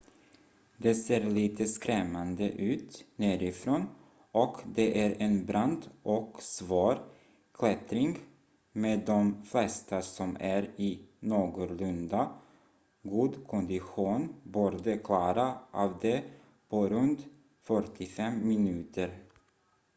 det ser lite skrämmande ut nerifrån och det är en brant och svår klättring med de flesta som är i någorlunda god kondition borde klara av det på runt 45 minuter